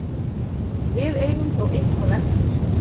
Við eigum þó eitthvað eftir.